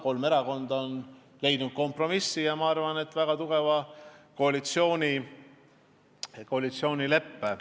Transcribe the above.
Kolm erakonda on leidnud kompromissi ja sõlminud minu arvates väga tugeva koalitsioonileppe.